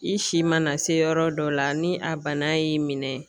I si mana se yɔrɔ dɔ la ni a bana y'i minɛ ,